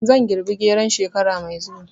Zan girbi geron shekara mai zuwa